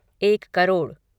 एक करोड़